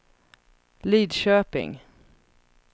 Lidköping